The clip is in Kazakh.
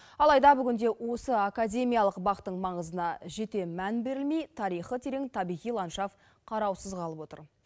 алайда бүгінде осы академиялық бақтың маңызына жете мән берілмей тарихы терең табиғи ландшафт қараусыз қалып отыр